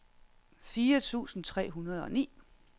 fire tusind tre hundrede og ni